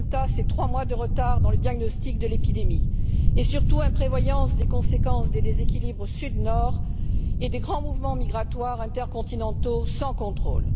Le résultat, c'est trois mois de retard dans le diagnostic de l'épidémie. Et surtout imprévoyance des conséquences des déséquilibres Sud Nord et des grands mouvements migratoires intercontinentaux sans contrôle.